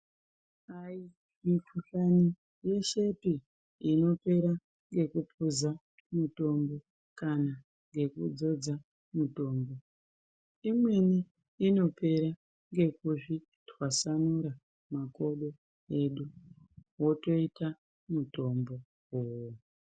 Aimikhuhlani yeshepi inopera ngekukwiza mutombo kana ngekudzodza mutombo imweni inopera ngekuzvitwasanura makodo edu wotoita mutombo.